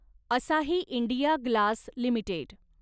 असाही India Glass limited